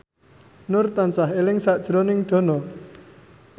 Nur tansah eling sakjroning Dono